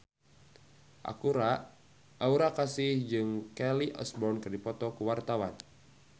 Aura Kasih jeung Kelly Osbourne keur dipoto ku wartawan